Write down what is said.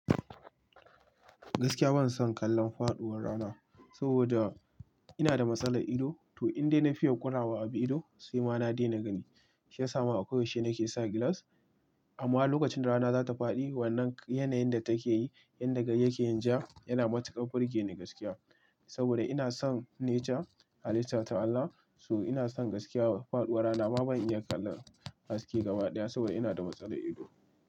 Gaskiya ban son kallon faɗuwar rana saboda ina da matsalar ido. To inda ina fiya ƙurawa abu ido sai ma na daina gani. Shiyasama a koyaushe nake sa gilas amma lokacin rana zata faɗi wannan yanayin da take yi, inda yake yin ja yana matukar burge ni gaskiya saboda ina son nature, halitta ta Allah. So ina son gaskiya faɗuwar rana ba zan iya kallon haske gaba ɗaya saboda ina da matsalar ido.